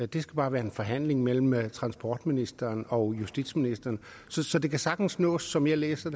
det skal bare være en forhandling mellem transportministeren og justitsministeren så så det kan sagtens nås som jeg læser